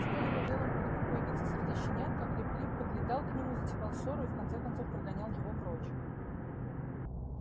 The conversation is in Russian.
стоило белому клыку появиться среди щенят как лип лип подлетал к нему затевал ссору и в конце концов прогонял его прочь